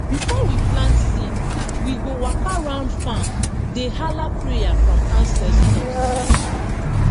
before we plant seed we go waka round farm dey hala prayer from ancestors